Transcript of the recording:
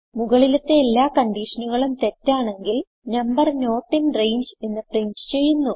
മുകളിലത്തെ എല്ലാ കൺഡിഷനുകളും തെറ്റാണെങ്കിൽ നംബർ നോട്ട് ഇൻ രംഗെ എന്ന് പ്രിന്റ് ചെയ്യുന്നു